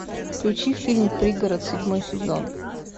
включи фильм пригород седьмой сезон